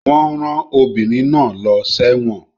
Wọ́n rán obìnrin náà lọ sẹ́wọ̀n